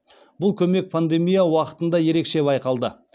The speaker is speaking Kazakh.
бұл көмек пандемия уақытында ерекше байқалды